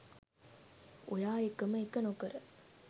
ඔයා එකම එක නොකර